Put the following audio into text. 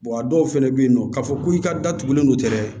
a dɔw fana bɛ yen nɔ k'a fɔ ko i ka datugulen don ten dɛ